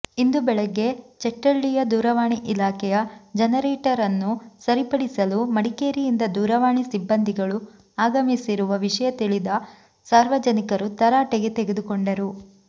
ಇಂದು ಬೆಳಗ್ಗೆ ಚೆಟ್ಟಳ್ಳಿಯ ದೂರವಾಣಿ ಇಲಾಖೆಯ ಜನರೇಟರನ್ನು ಸರಿಪಡಿಸಲು ಮಡಿಕೇರಿಯಿಂದ ದೂರವಾಣಿ ಸಿಬ್ಬಂದಿಗಳು ಆಗಮಿಸಿರುವ ವಿಷಯತಿಳಿದ ಸಾರ್ವಜನಿಕರು ತರಾಟೆಗೆ ತೆಗೆದುಕೊಂಡರು